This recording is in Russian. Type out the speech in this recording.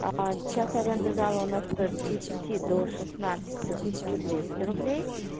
час аренды зала у нас стоит с десяти до шестнадцати тысячу двести рублей